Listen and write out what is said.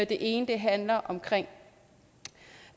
ene handler om